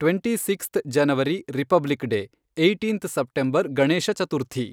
Twenty sixth January republic day, eighteenth September Ganesha Chaturthi.